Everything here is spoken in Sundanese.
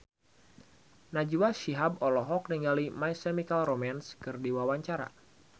Najwa Shihab olohok ningali My Chemical Romance keur diwawancara